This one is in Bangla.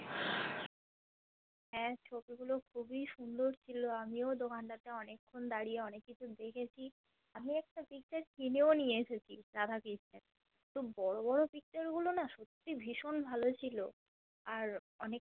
হ্যা ছবি গুলি অনেক সুন্দর ছিলো আমিও দোকান তাতে অনেক্ষন দাড়িয়ে অনেক কিছু দেখেছি আমি একটা Picture কিনেও নিয়ে এসেছি রাধা কৃষ্ণের কিন্তু বড়ো বড়ো Picture গুলো না সত্যি ভীষণ ভালো ছিল আর অনেক